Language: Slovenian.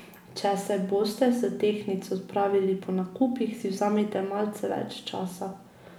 Če se boste s tehtnico odpravili po nakupih, si vzemite malce več časa.